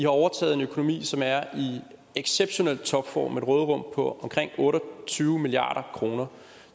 overtaget en økonomi som er i exceptionel topform et råderum på omkring otte og tyve milliard kroner